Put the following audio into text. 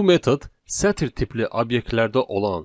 Bu metod sətir tipli obyektlərdə olan